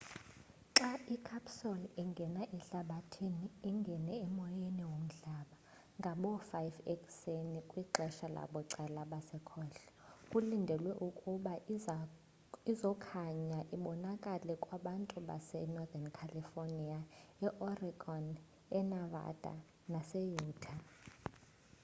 xa icapsule ingena ehlabathini ingene emoyeni womhlaba ngaboo 5 ekuseni kwixesha labucala basekhohlo kulindelwe ukuba izokhanya ibonakale kwabantu base-northen california e-oregon e-nevada nase-utah